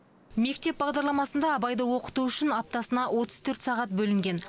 мектеп бағдарламасында абайды оқыту үшін аптасына отыз төрт сағат бөлінген